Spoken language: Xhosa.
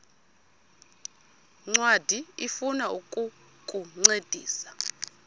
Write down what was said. ncwadi ifuna ukukuncedisa